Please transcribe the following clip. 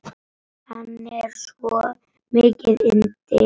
Hann er svo mikið yndi.